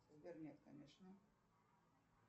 сбер нет конечно